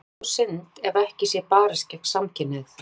Það sé þó synd ef ekki sé barist gegn samkynhneigð.